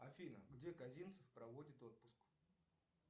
афина где казинцев проводит отпуск